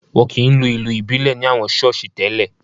Wọn kì í lu ìlù ìbílẹ̀ ní àwọn ṣọ́ọ̀ṣì tẹ́lè